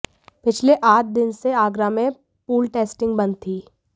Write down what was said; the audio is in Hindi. पिछले आठ दिन से आगरा में पूल टेस्टिंग बंद थी